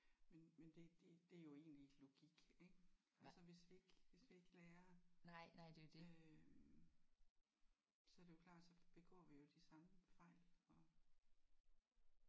Men men det det det er jo egentlig logik ik? Hvis vi ikke hvis vi ikke lærer øh så er det jo klart så begår vi jo de samme fejl og